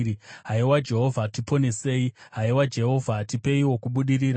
Haiwa Jehovha, tiponesei; haiwa Jehovha, tipeiwo kubudirira.